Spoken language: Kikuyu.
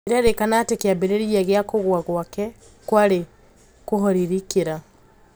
Irairikana atĩ kiambiriria gia kugwa gwake kwari kũhoririkira.